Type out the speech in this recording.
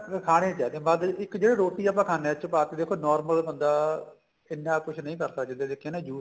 ਖਾਣੇ ਚ ਏ ਜੇ ਵੱਧ ਇੱਕ ਜਿਹੜਾ ਰੋਟੀ ਖਾਨੇ ਆ ਉਸ ਚ ਪਾ ਕੇ ਦੇਖੋ normal ਬੰਦਾ ਇੰਨਾ ਕੁੱਝ ਨਹੀਂ ਕਰ ਸਕਦੇ ਜੇ ਦੇਖੀਏ ਨਾ juice